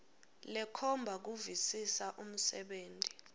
lekhomba kuvisisa umsebenti